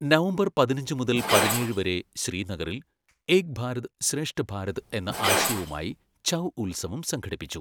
November പതിനഞ്ച് മുതൽ പതിനേഴ് വരെ ശ്രീനഗറിൽ ഏക് ഭാരത് ശ്രേഷ്ഠ ഭാരത് എന്ന ആശയവുമായി ഛൗ ഉത്സവം സംഘടിപ്പിച്ചു.